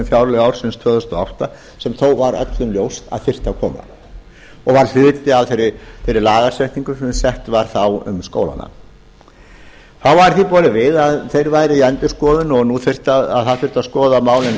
fjárlög ársins tvö þúsund og átta sem þó var öllum ljóst að þyrfti að koma og var hluti af þeirri lagasetningu sem sett var þá um skólana þá var því borið við að þeir væru í endurskoðun og skoða þyrfti málin